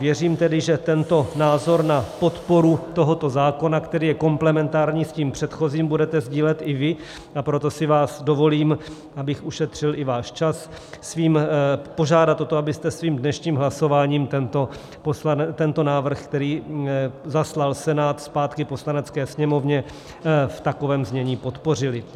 Věřím tedy, že tento názor na podporu tohoto zákona, který je komplementární s tím předchozím, budete sdílet i vy, a proto si vás dovolím, abych ušetřil i váš čas, požádat o to, abyste svým dnešním hlasováním tento návrh, který zaslal Senát zpátky Poslanecké sněmovně, v takovém znění podpořili.